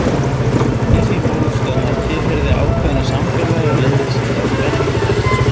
Í því fólst að maður tilheyrði ákveðnu samfélagi og lifði samkvæmt venjum þess.